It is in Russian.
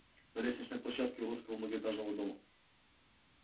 на лестничной площадке уродского многоэтажного дома